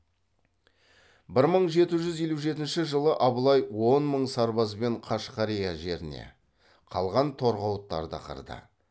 бір мың жеті жүз елу жетінші жылы абылай он мың сарбазбен қашқария жеріне қалған торғауыттарды қырды